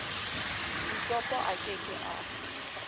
ditopo a ke ke a